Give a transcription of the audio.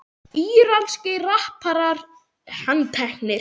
Íranskir rapparar handteknir